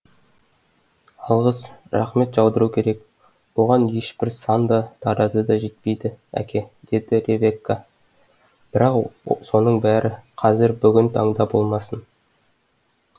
алғыс рақмет жаудыру керек оған ешбір сан да таразы да жетпейді әке деді ревекка бірақ соның бәрі қазір бүгін таңда болмасын